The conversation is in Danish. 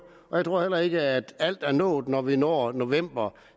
og jeg tror heller ikke at alt er nået når vi når november